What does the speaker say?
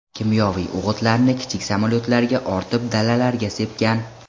Kimyoviy o‘g‘itlarni kichik samolyotlarga ortib dalalarga sepgan.